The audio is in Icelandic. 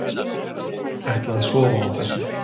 Ætla að sofa á þessu